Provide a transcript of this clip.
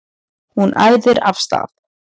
Hún æðir af stað.